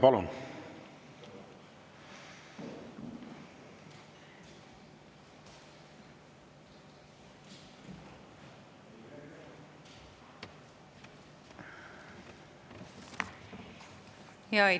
Palun!